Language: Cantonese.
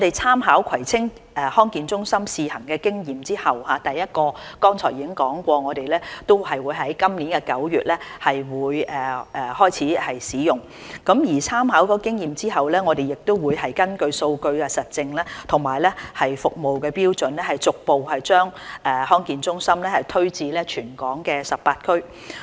參考葵青康健中心試行的經驗後，剛才提過第一個地區康健中心將於今年9月開始使用，參考經驗後我們會根據數據實證及服務標準逐步把康健中心推展至全港18區。